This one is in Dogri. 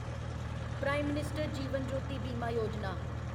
prime minister Jeevan Jyoti Bima Yojana